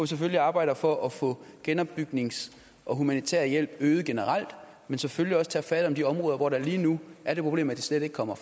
selvfølgelig arbejder for at få genopbygningshjælp og humanitær hjælp øget generelt men selvfølgelig også tager fat om de områder hvor der lige nu er det problem at det slet ikke kommer